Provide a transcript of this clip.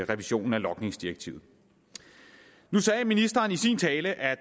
revisionen af logningsdirektivet nu sagde ministeren i sin tale at